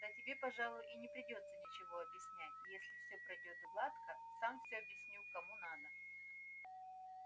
да тебе пожалуй и не придётся ничего объяснять если всё пройдёт гладко сам всё объясню кому надо